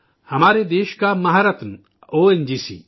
ہمارے ملک کا مہارتن او این جی سی